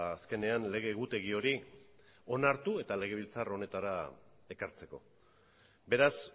azkenean lege egutegi hori onartu eta legebiltzar honetara ekartzeko beraz